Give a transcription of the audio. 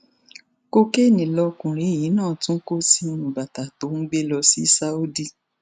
kokéènì lọkùnrin yìí náà tún kó sínú bàtà tó ń gbé lọ sí saudi